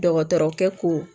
Dɔgɔtɔrɔkɛ ko